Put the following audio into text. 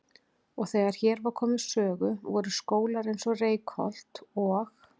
Og þegar hér var komið sögu voru skólar eins og Reykholt og